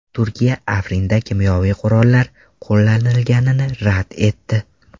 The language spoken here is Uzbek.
Turkiya Afrinda kimyoviy qurol qo‘llanilganini rad etdi.